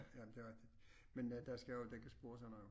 Jamen det rigtig men der skal jo dækkes bord og sådan noget